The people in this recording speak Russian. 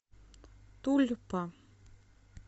тульпа